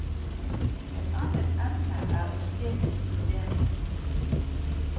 Et annet emne er estetisk vurdering.